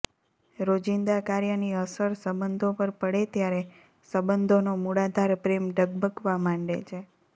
રોજિંદા કાર્યની અસર સંબંધો પર પડે ત્યારે સંબંધોનો મૂળાધાર પ્રેમ ડગમગવા માંડે છે